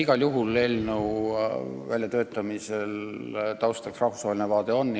Igal juhul on eelnõu väljatöötamisel taustaks rahvusvaheline vaade.